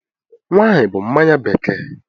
Wine bụ mmanya bekee.